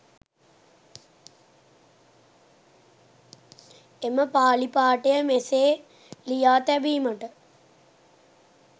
එම පාලි පාඨය මෙසේ ලියා තැබීමට